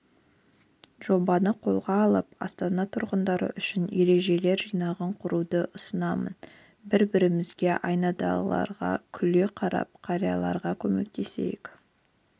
жобасын қолға алып астана тұрғындары үшін ережелер жинағын құруды ұсынамын бір-бірімізге айналадағыларға күле қарап қарияларға көмектесейік